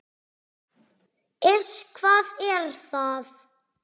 Iss, hvað er það?